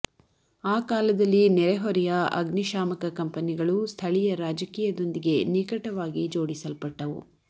ಆ ಕಾಲದಲ್ಲಿ ನೆರೆಹೊರೆಯ ಅಗ್ನಿಶಾಮಕ ಕಂಪನಿಗಳು ಸ್ಥಳೀಯ ರಾಜಕೀಯದೊಂದಿಗೆ ನಿಕಟವಾಗಿ ಜೋಡಿಸಲ್ಪಟ್ಟವು